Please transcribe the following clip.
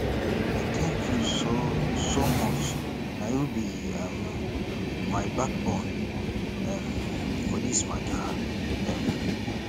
i thank you so so much na you be um my backbone um for this mata um